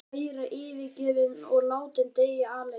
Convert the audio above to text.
Þau væru yfirgefin og látin deyja alein.